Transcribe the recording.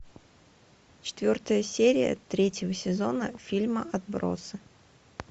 четвертая серия третьего сезона фильма отбросы